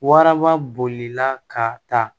Waraba bolila ka taa